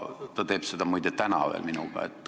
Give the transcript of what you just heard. Ta teeb seda, muide, veel täna minuga.